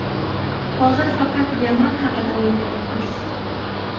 Hozir faqat Yaman haqida o‘ylayapmiz.